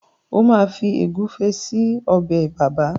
o ma Fi egufe sí Ọbẹ̀ bàbá.